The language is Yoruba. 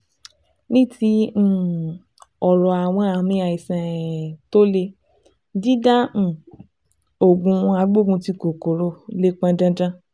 Ní ti um ọ̀rọ̀ àwọn àmì àìsàn um tó le, dídá um òògùn agbógunti kòkòrò lè pọn dandan